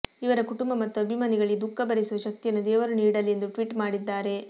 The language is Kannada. ಇವರ ಕುಟುಂಬ ಮತ್ತು ಅಭಿಮಾನಿಗಳಿಗೆ ದುಃಖ ಭರಿಸುವ ಶಕ್ತಿಯನ್ನು ದೇವರು ನೀಡಲಿ ಎಂದು ಟ್ವಿಟ್ ಮಾಡಿದ್ದಾರೆ